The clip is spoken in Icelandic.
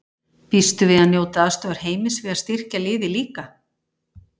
Býstu við að njóta aðstoðar Heimis við að styrkja liðið líka?